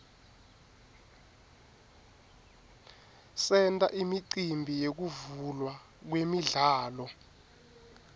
senta imicimbi yekuvulwa kwemidlalo